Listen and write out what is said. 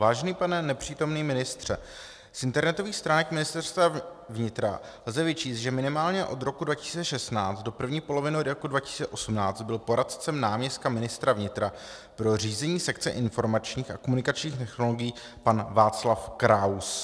Vážený pane nepřítomný ministře, z internetových stránek Ministerstva vnitra lze vyčíst, že minimálně od roku 2016 do první poloviny roku 2018 byl poradcem náměstka ministra vnitra pro řízení sekce informačních a komunikačních technologií pan Václav Kraus.